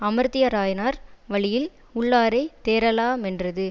அமர்த்தியராயனார் வழியில் உள்ளாரைத் தேறலா மென்றது